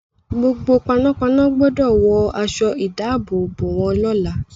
Gbogbo panápaná gbọdọ̀ wọ aṣọ-ìdáàbòbò wọn lọ́la.